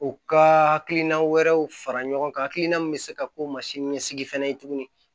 U ka hakilina wɛrɛw fara ɲɔgɔn kan hakilina min bɛ se ka k'o mansini ɲɛsigi fɛnɛ ye tuguni